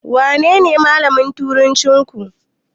Wanene malamin turancinku?